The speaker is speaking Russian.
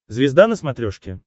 звезда на смотрешке